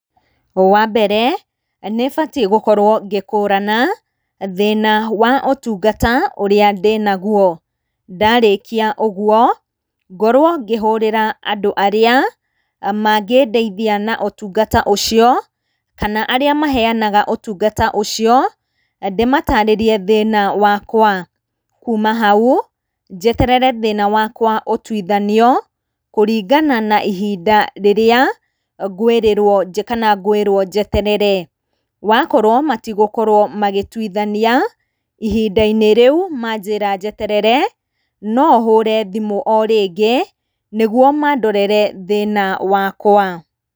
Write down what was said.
Wambere nĩbatiĩ gũkorwo ngĩkũrana thĩna wa ũtungata ũrĩa ndĩnaguo. Ndarĩkia ũguo ngorwo ngĩhũrĩra andũ arĩa mangĩndeithia na ũtungata ũcio, kana arĩa maheyanaga ũtungata ũcio ndĩmatarĩrie thĩna wakwa. Kuma hau njeterere thĩna wakwa ũtuithanio kũringana na ihinda rĩrĩa ngwĩrĩrwo kana ngwĩrwo njeterere. Wakorwo matigũkorwo magĩtuithania ihindainĩ rĩu manjĩra njeterere, no hũre thimũ o rĩngĩ nĩguo mandorere thĩna wakwa.